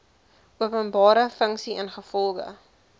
openbare funksie ingevolge